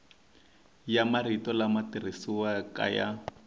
ya marito lama tirhisiwaka ya